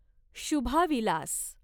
Shubha Vilas